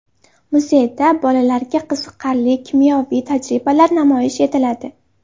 Muzeyda bolalarga qiziqarli kimyoviy tajribalar namoyish etiladi.